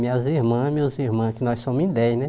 Minhas irmãs, meus irmãos, que nós somos em dez, né?